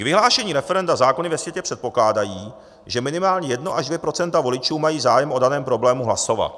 K vyhlášení referenda zákony ve světě předpokládají, že minimálně 1 až 2 % voličů mají zájem o daném problému hlasovat.